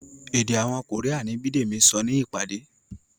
èdè àwọn Korean ni Bidemi sọ ní ìpàdé.